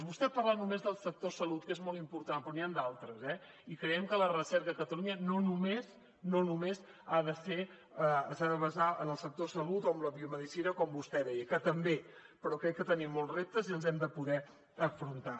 vostè parla només del sector salut que és molt important però n’hi han d’altres eh i creiem que la recerca a catalunya no només no només s’ha de basar en el sector salut o en la biomedicina com vostè deia que també però crec que tenim molts reptes i els hem de poder afrontar